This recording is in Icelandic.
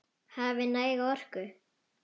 Hafi næga orku.